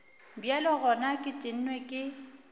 bjale gona ke tennwe ke